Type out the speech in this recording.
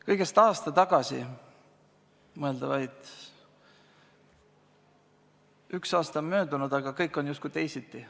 Kõigest aasta, mõelda vaid, üks aasta on möödunud, aga kõik on justkui teisiti.